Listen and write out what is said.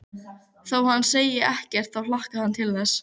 Þótt hann segði ekkert þá hlakkaði hann til þess.